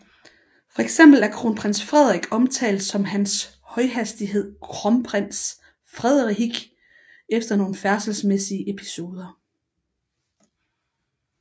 Fx er kronprins Frederik omtalt som Hans Højhastighed Kromprins Fredehik efter nogle færdselsmæssige episoder